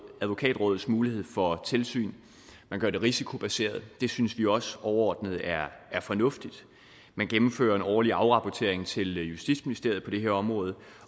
advokatrådets mulighed for tilsyn man gør det risikobaseret og det synes vi også overordnet er fornuftigt man gennemfører en årlig afrapportering til justitsministeriet på det her område